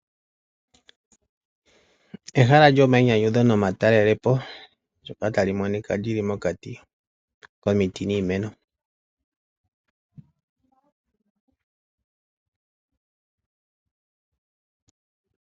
Ehala lyomainyanyudho nomatalelopo, ndyoka tali monika li li mokati komiti niimeno.